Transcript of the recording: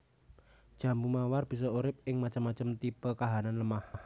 Jambu mawar bisa urip ing macem macem tipe kahanan lemah